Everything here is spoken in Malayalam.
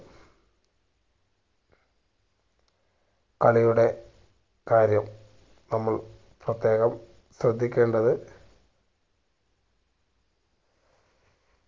കളിയുടെ കാര്യം നമ്മൾ പ്രത്യേകം ശ്രദ്ധിക്കേണ്ടത്